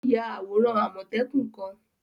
O yà awóran àmọtẹ́kùn kan